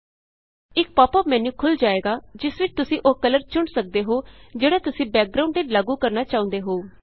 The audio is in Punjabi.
ਇਕ ਪਾਪ ਅੱਪ ਮੈਨਯੂ ਖੁੱਲ੍ ਜਾਏਗਾ ਜਿਸ ਵਿਚੋਂ ਤੁਸੀਂ ਉਹ ਕਲਰ ਚੁਣ ਸਕਦੇ ਹੋ ਜਿਹੜਾ ਤੁਸੀਂ ਬੈਕਗਰਾਂਉਡ ਤੇ ਲਾਗੂ ਕਰਨਾ ਚਾਹੁੰਦੇ ਹੋ